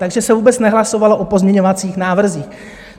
Takže se vůbec nehlasovalo o pozměňovacích návrzích.